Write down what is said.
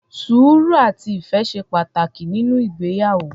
Sùúrù, àti ìfẹ́ ṣe pàtàkì nínú ìgbéyàwó.